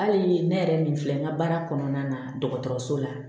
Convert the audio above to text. Hali ne yɛrɛ nin filɛ n ka baara kɔnɔna na dɔgɔtɔrɔso la